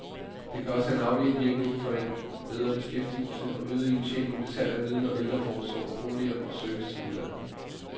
Det kan også have en afledt virkning for en bedre beskæftigelse og øget indtjening ved salg af viden om ældreforsorg, boliger og service til udlandet.